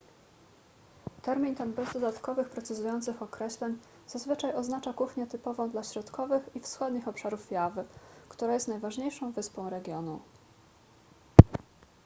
termin ten bez dodatkowych precyzujących określeń zazwyczaj oznacza kuchnię typową dla środkowych i wschodnich obszarów jawy która jest najważniejszą wyspą regionu